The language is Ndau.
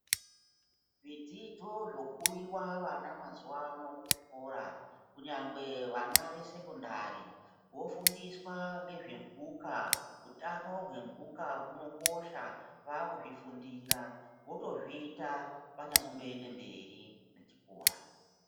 Zvidzidzo zvopuwiwa vana mazuwa ano kuzvikora kunyangwe vana vesekondari vofundiswa ngezve mhuka. Utano hwemhuka hunokosha vakuzvifundira. Votozviita vanyazomboende mberi nechikora.